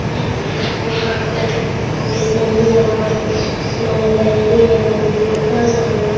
टोपी पहनले हई चश्मा लगयले हईबोतल हई।